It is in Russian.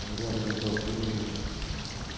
главное доброе утро